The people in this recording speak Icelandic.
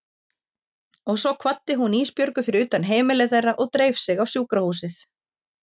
Og svo kvaddi hún Ísbjörgu fyrir utan heimili þeirra og dreif sig á sjúkrahúsið.